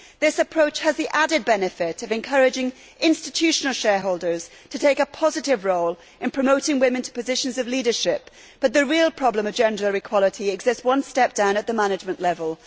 This approach has the added benefit of encouraging institutional shareholders to take a positive role in promoting women to positions of leadership, but the real problem of gender equality exists one step down, at the management level.